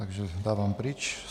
Takže dávám pryč.